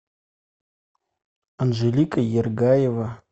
анжелика ергаева